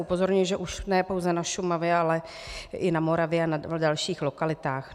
Upozorňuji, že už ne pouze na Šumavě, ale i na Moravě a na dalších lokalitách.